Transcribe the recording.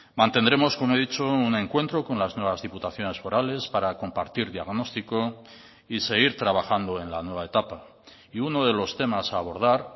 mantendremos como he dicho un encuentro con las nuevas diputaciones forales para compartir diagnóstico y seguir trabajando en la nueva etapa y uno de los temas a abordar